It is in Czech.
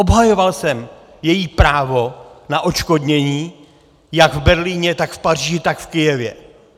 Obhajoval jsem její právo na odškodnění jak v Berlíně, tak v Paříži, tak v Kyjevě.